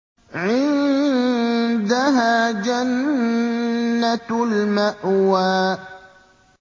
عِندَهَا جَنَّةُ الْمَأْوَىٰ